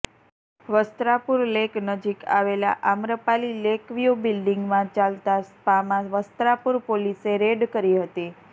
Vastrapur lake નજીક આવેલા Amrapali lakeview બિલ્ડિંગમાં ચાલતા સ્પામાં વસ્ત્રાપુર પોલીસે રેડ કરી હતી